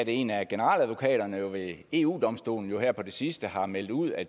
en af generaladvokaterne ved eu domstolen her på det sidste har meldt ud at